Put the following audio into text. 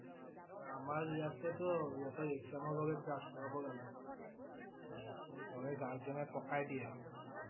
আমাৰ ইয়াতে টো সিহঁতৰ exam ৰ লৈকে class কৰাব লাগে। নহলে guardian এ পকাই দিয়ে